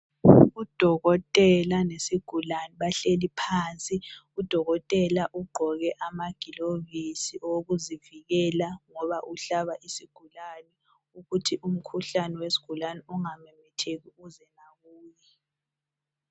Udokotela lesigulane bahleli phansi udokotela ugqoke amagilovisi okuzivikela ngoba uhlaba isigulane ukuthi umkhuhlane wesigulane ungamemetheki uze lakuye.